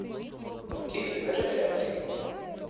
окей закажи тряпки